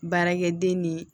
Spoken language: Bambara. Baarakɛden ni